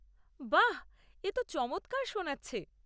বাহ! এ তো চমৎকার শোনাচ্ছে।